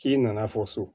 K'i nana fɔ so